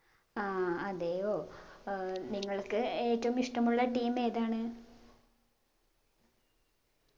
ആ അതെയോ ഏർ നിങ്ങൾക്ക് ഏറ്റവും ഇഷ്ട്ടമുള്ള team ഏതാണ്